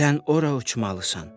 Sən ora uçmalısan.